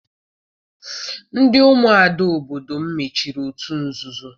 Ndị umuada obodo m mechiri otu nzuzo.